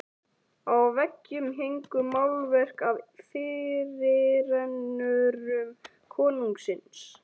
Á veggjum héngu málverk af fyrirrennurum konungsins.